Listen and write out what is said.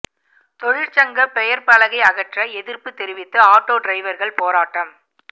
தொழிற்சங்க பெயர் பலகை அகற்ற எதிர்ப்பு தெரிவித்து ஆட்டோ டிரைவர்கள் போராட்டம்